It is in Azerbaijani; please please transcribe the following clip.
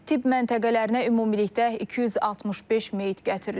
Tibb məntəqələrinə ümumilikdə 265 meyit gətirilib.